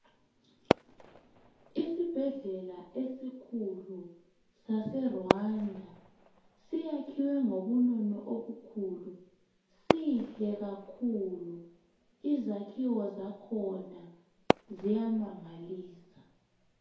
Isibhedlela esikhulu sase Rwanda siyakhiwe ngobunono obukhulu sihle kakhulu izakhiwo zakhona ziyamangalisa